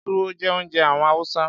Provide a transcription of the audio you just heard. Túwó jẹ́ oúnjẹ àwọn Hausa.